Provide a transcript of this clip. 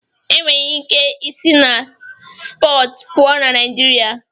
E nwere ike i si na siipọọtụ pụọ ná Naịjirịa